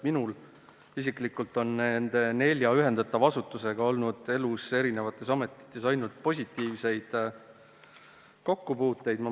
Minul isiklikult on nende nelja ühendatava asutusega olnud eri ametites ainult positiivseid kokkupuuteid.